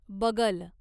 बगल